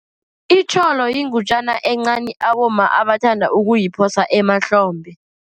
Itjholo yingutjana encani abomma abathanda ukuyiphosa emahlombe.